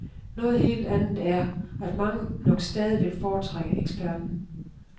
Noget helt andet er, at mange nok stadig vil foretrække eksperten.